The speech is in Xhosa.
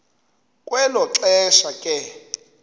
kwelo xesha ke